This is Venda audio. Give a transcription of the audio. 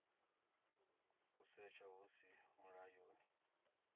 u setsha hu si mulayoni